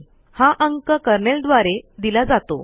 हा अंक कर्नेल द्वारे दिला जातो